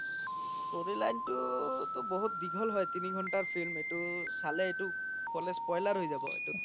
storyline তো তোহ বহুত দিঘল হয় তিনি ঘন্তাৰ film এইতো চালে এইতো spoiler হয় যাব এইতো